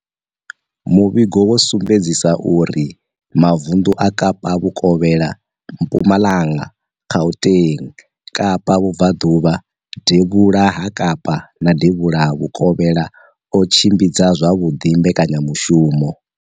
Muvhigo wo sumbedzisa uri mavundu a Kapa Vhukovhela, Mpumalanga, Gauteng, Kapa Vhubvaḓuvha, Devhula ha Kapa na Devhula Vhukovhela o tshimbidza zwavhuḓi mbekanyamushumo